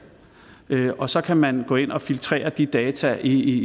og så kan man gå ind og filtrere de data i